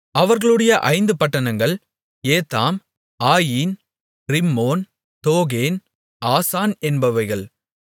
அவர்களுடைய ஐந்து பட்டணங்கள் ஏத்தாம் ஆயின் ரிம்மோன் தோகேன் ஆசான் என்பவைகள்